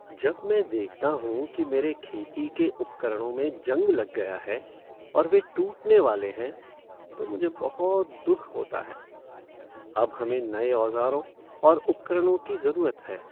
जब मैं देखता हूँ कि मेरे खेती के उपकरणों में जंग लग गया है और वे टूटने वाले हैं तो मुझे बहुत दुख होता है। अब हमें नए औजारों और उपकरणों की ज़रूरत है।